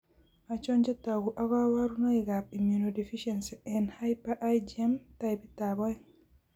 Achon chetogu ak kaborunoik ab immunodeficiency eng' hyper IgM taipit ab oeng'